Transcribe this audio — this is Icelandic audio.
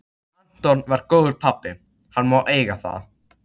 Anton var góður pabbi, hann má eiga það.